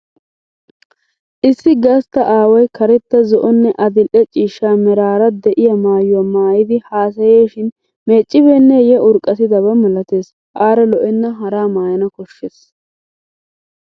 Issi gastta aaway karetta zo'onne adil'e cishcha meraara de'iyaa maayuwa maayidi haasayeeshin meeccibeenneyye urqqatidaba malatees. Aara lo'enna haraa maayana koshshes.